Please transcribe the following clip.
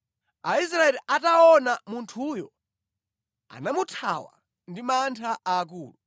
Aisraeli ataona munthuyo, anamuthawa ndi mantha aakulu.